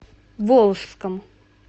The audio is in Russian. волжском